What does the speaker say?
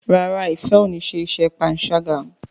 ràrá Ifẹ ọ ní ṣe iṣé panṣaga.